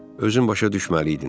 Özün başa düşməliydin.